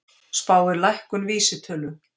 Spáir lækkun vísitölu